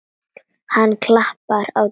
Hann klappar á dýnuna.